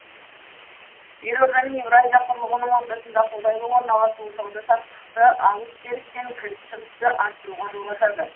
елорданың еуразия құрлығының ортасында қолайлы орналасуы сауда саттықты алыс беріс пен кіріс шығысты арттыруға жол ашады